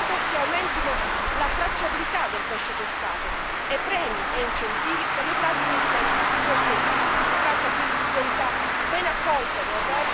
È necessaria l'adozione di misure di mercato che aumentino la tracciabilità del pesce pescato, e premi e incentivi per le pratiche di pesca sostenibili.